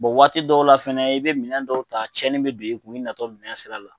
Bɔn waati dɔw la fɛnɛ i be minɛn dɔw ta cɛni be don i natɔ minɛnsira la